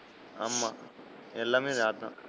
ஆமா எல்லாமே இனி அது தான்.